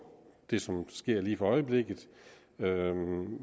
det som sker lige for øjeblikket